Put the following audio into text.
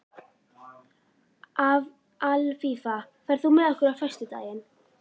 Alfífa, ferð þú með okkur á föstudaginn?